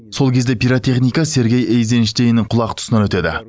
сол кезде пиротехника сергей эйзенштейннің құлақ тұсынан өтеді